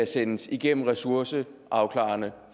sendes igennem ressourceafklarende